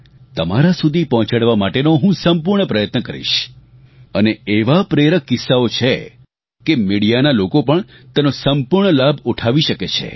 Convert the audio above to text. તમારા સુધી પહોંચાડવા માટેનો હું સંપૂર્ણ પ્રયત્ન કરીશ અને એવાં પ્રેરક કિસ્સાઓ છે કે મિડીયાના લોકો પણ તેનો સંપૂર્ણ લાભ ઉઠાવી શકે છે